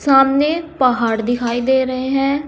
सामने पहाड़ दिखाई दे रहे हैं।